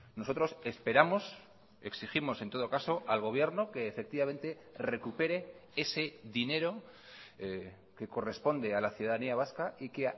nosotros esperamos exigimos en todo caso al gobierno que efectivamente recupere ese dinero que corresponde a la ciudadanía vasca y que